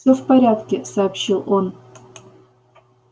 всё в порядке сообщил он